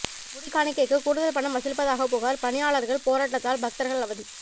முடிக்காணிக்கைக்கு கூடுதல் பணம் வசூலிப்பதாக புகாா் பணியாளா்கள் போராட்டத்தால் பக்தா்கள் அவதி